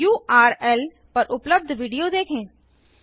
इस उर्ल पर उपलब्ध विडियो देखें